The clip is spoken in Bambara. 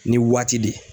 Ni waati de